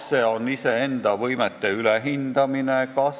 Kas see on iseenda võimete ülehindamine?